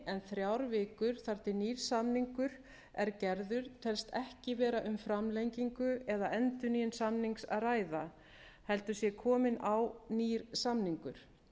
en þrjár vikur þar til nýr samningur er gerður telst ekki vera um framlengingu eða endurnýjun samnings að ræða heldur sé kominn á nýr samningur